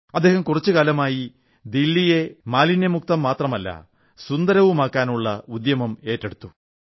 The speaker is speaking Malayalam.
അദ്ദേഹം കുറച്ചു കാലമായി ദില്ലിയെ മാലിന്യമുക്തം മാത്രമല്ല സുന്ദരവുമാക്കാനുള്ള ഉദ്യമം ഏറ്റെടുത്തു